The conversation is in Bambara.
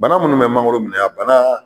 Bana munnu bɛ mangoro minɛ a bana